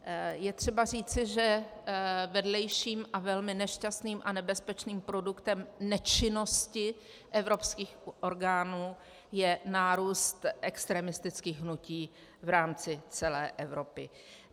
Je třeba říci, že vedlejším a velmi nešťastným a nebezpečným produktem nečinnosti evropských orgánů je nárůst extremistických hnutí v rámci celé Evropy.